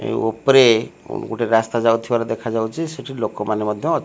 ଏ ଉପରେ ଗୋଟିଏ ରାସ୍ତା ଯାଉଥିବାର ଦେଖାଯାଉଛି ସେଠି ଲୋକମାନେ ମଧ୍ଯ --